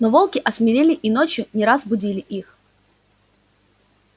но волки осмелели и ночью не раз будили их